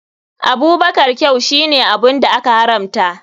Abubakar kyau shine abun da aka haramta.